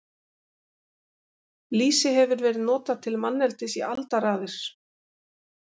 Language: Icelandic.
Lýsi hefur verið notað til manneldis í aldaraðir.